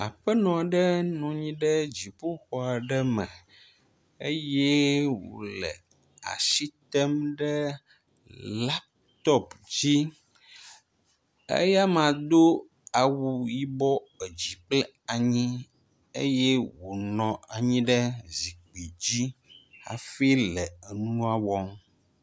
Aƒenɔ aɖe nɔ anyi ɖe dziƒoxɔ aɖe me eye wo le asi tem ɖe laptop dzi eye amea do awu yibɔ edzi kple anyi eye wonɔ anyi ɖe zikpui dzi hafi le nua wɔm.